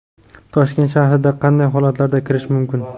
Toshkent shahriga qanday holatlarda kirish mumkin?.